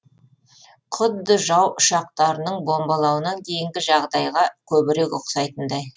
құдды жау ұшақтарының бомбалауынан кейінгі жағдайға көбірек ұқсайтындай